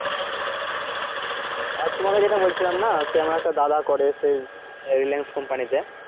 হুম আর তোমাকে যেটা বলছিলাম না সেই আমার একটা দাদা করে সেই reliance company তে